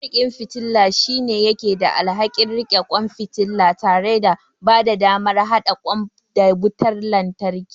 Mariƙin fitila shine yake da alhakin riƙe kwan fitila tare da bada damar haɗa kwan da wutar lantarki.